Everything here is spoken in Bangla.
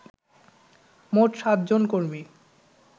মোট সাতজন কর্মী